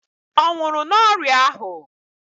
Ọ nwụrụ n'ọrịa ahụ?